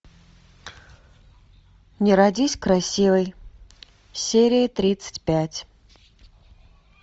не родись красивой серия тридцать пять